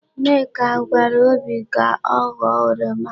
Nneka gwara obi ka ọ ghọọ oroma.